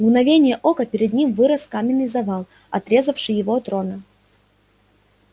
в мгновение ока перед ним вырос каменный завал отрезавший его от рона